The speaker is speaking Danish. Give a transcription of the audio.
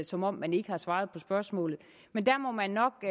som om man ikke har svaret på spørgsmålet men der må man nok